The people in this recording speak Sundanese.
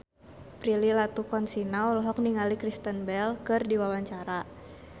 Prilly Latuconsina olohok ningali Kristen Bell keur diwawancara